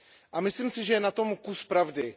A myslím si, že je na tom kus pravdy.